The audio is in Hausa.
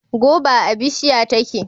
Goba a bishiya take.